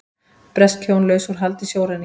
Bresk hjón laus úr haldi sjóræningja